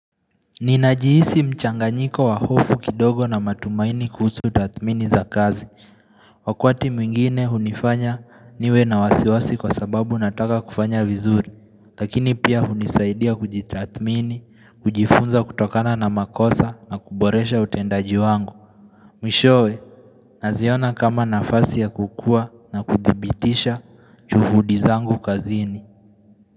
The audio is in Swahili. Ninajihisi mchanganyiko wa hofu kidogo na matumaini kuhusu utathmini za kazi. Wakwati mwingine hunifanya niwe na wasiwasi kwa sababu nataka kufanya vizuri. Lakini pia hunisaidia kujitathmini, kujifunza kutokana na makosa na kuboresha utendaji wangu. Mwishowe, naziona kama nafasi ya kukua na kudhibitisha juhudi zangu kazini.